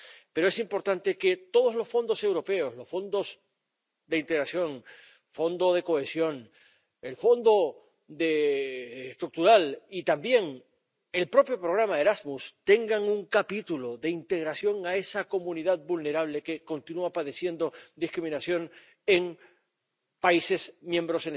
Pero es importante que todos los fondos europeos —los fondos de integración, el Fondo de Cohesión, los Fondos Estructurales y también el propio programa Erasmus— tengan un capítulo de integración de esa comunidad vulnerable que continúa padeciendo discriminación en Estados miembros